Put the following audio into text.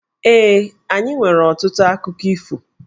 Ee, anyị nwere ọtụtụ akụkọ ifo.